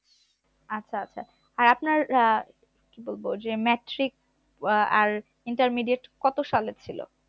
আচ্ছা আচ্ছা আর আপনার আহ কি বলবো যে matric আর intermediate কত সালে ছিল